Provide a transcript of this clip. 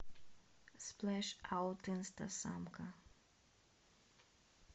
сплэш аут инстасамка